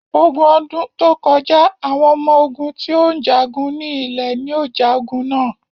Ogun ọdún tó kọjá, àwọn ọmọ ogún tí ó ń jagun ní ilẹ̀ ní o ja ogun na.